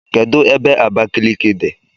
Kedụ ebe Abakiliki dị?